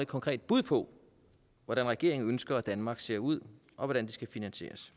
konkret bud på hvordan regeringen ønsker at danmark skal se ud og hvordan det skal finansieres